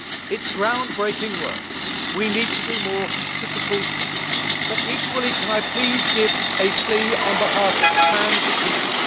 It is ground breaking work, we need to do more to support them, but equally can I please give a plea on behalf of trans people.